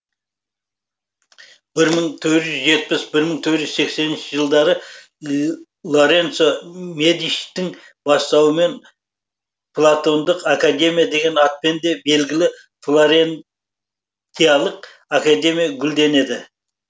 бір мың төрт жүз жетпіс бір мың төрт жүз сексенінші жылдары лоренцо медичтің бастауымен платондық академия деген атпен де белгілі флорен тиялық академия гүлденеді